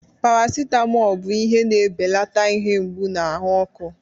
Paracetamol bụ ihe na-ebelata ihe mgbu na ahụ ọkụ.